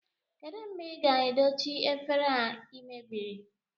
Kedụ mgbe ị ga-edochi efere a ị mebiri?